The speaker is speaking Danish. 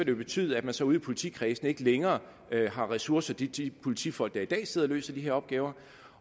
jo betyde at man så ude i politikredsene ikke længere har ressourcer til de politifolk der i dag sidder og løser de her opgaver